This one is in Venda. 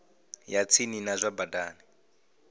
ya tsini ya zwa badani